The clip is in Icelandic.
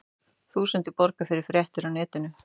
Þúsundir borga fyrir fréttir á netinu